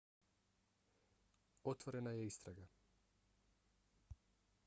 otvorena je istraga